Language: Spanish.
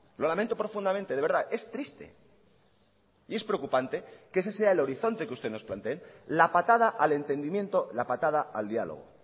lo lamento profundamente de verdad es triste y es preocupante que ese sea el horizonte que usted nos planteen la patada al entendimiento la patada al diálogo